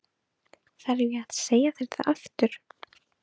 Þarf ég að segja það aftur?